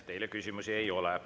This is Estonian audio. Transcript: Teile küsimusi ei ole.